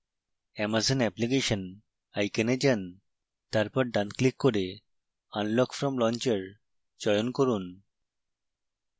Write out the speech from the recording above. amazon application icon যান তারপর ডানclick করে unlock from launcher চয়ন করুন